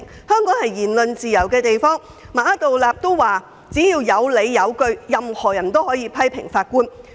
香港有言論自由，馬道立首席法官也表示只要有理有據，任何人也可批評法官。